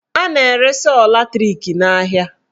A na-ere sọọ latrik n'ahịa.